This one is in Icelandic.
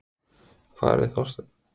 Hvar er Þorsteinn?